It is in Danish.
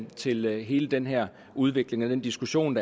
til hele den her udvikling og den diskussion